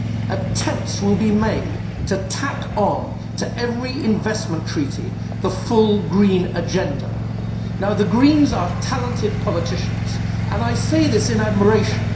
Attempts will be made to tack on to every investment treaty the full Green agenda. Now the Greens are talented politicians and I say this in admiration.